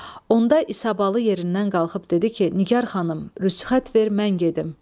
Onda İsabalı yerindən qalxıb dedi ki, Nigar xanım, rüsxət ver, mən gedim.